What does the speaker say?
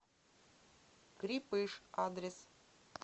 крепыш адрес